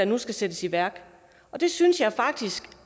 nu skal sættes i værk og det synes jeg jo faktisk